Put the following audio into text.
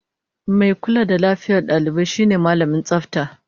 Mai kula da lafiyar dalibai shine Mallamin Tsafta